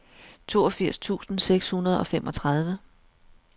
toogfirs tusind seks hundrede og femogtredive